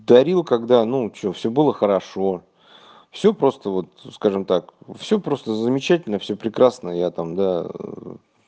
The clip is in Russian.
творил когда ну что всё было хорошо всё просто вот скажем так всё просто замечательно всё прекрасно я там да